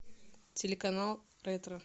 телеканал ретро